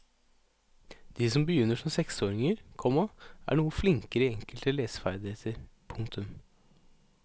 De som begynner som seksåringer, komma er noe flinkere i enkelte leseferdigheter. punktum